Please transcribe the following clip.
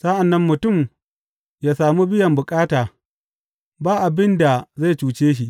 Sa’an nan mutum ya sami biyan bukata, ba abin da zai cuce shi.